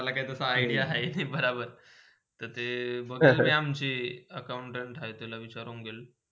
मला ताझा काही idea हाय नाय बराबर, तसे अम्छी accountant खाली विचारुण गेली.